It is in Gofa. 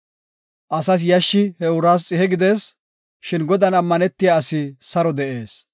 Asas yashshi he uraas xihe gidees; shin Godan ammanetiya asi saro de7ees.